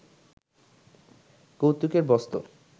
কৌতুকের বস্তু